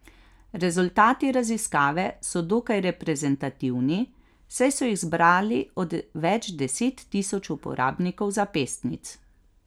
Rezultati raziskave so dokaj reprezentativni, saj so jih zbrali od več deset tisoč uporabnikov zapestnic.